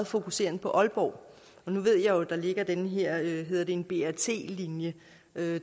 fokusering på aalborg nu ved jeg jo at der ligger den her hedder det en brt linje